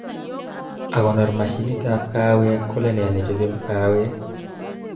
Akonor mashinitab kahawek kolenee nechob kahawek